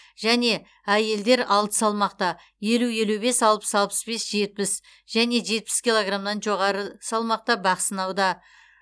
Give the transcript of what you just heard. және әйелдер алты салмақта елу елу бес алпыс алпыс бес жетпіс және жетпіс килограммнан жоғары салмақта бақ сынауда